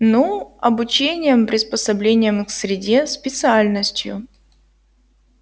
ну обучением приспособлением к среде специальностью